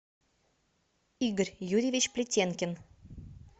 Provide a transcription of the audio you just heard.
игорь юрьевич плетенкин